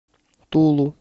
тулу